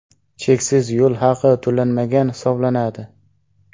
Cheksiz yo‘l haqi to‘lanmagan hisoblanadi.